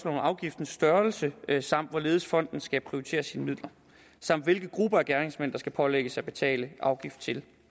om afgiftens størrelse samt hvorledes fonden skal prioritere sine midler samt hvilke grupper af gerningsmænd der skal pålægges at betale afgift til